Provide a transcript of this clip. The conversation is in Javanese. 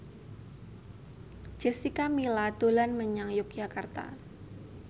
Jessica Milla dolan menyang Yogyakarta